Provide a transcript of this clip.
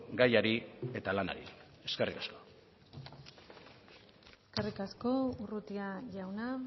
gaiari eta lanari eskerrik asko eskerrik asko urrutia jauna